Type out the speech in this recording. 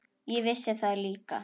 Ég vissi það líka.